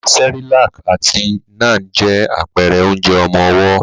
Cerelac àti Nan je àpẹrẹ onjẹ ọmọwọ́.